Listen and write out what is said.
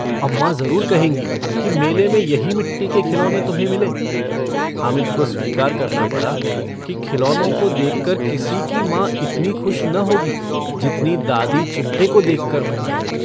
अम्माँ जरूर कहेंगी कि मेले में यही मिट्टी के खिलौने तुम्हें मिले? हामिद को स्वीकार करना पड़ा कि खिलौनों को देखकर किसी की मांँ इतनी खुश न होगी जितनी दादी चिमटे को देखकर होंगी।